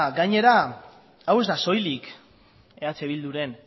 gainera hau ez da soilik eh bilduren